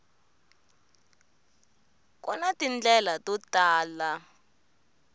ku na tindlela to tala